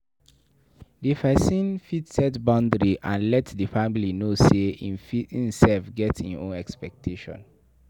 Di person fit set boundary and let di family know sey im sef get im own expectation